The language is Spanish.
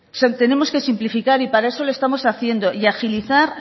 tenemos que simplificar y para eso lo estamos haciendo y agilizar